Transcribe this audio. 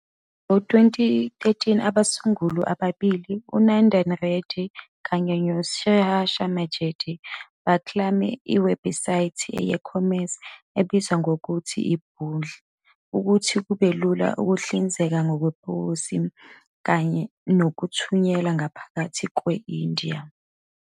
Ngo-2013, abasunguli ababili, uNandan Reddy kanye no-Sriharsha Majety, baklame iwebhusayithi ye-e-commerce ebizwa ngokuthi i-Bundl ukuze kube lula ukuhlinzeka ngeposi nokuthunyelwa ngaphakathi kwe-India.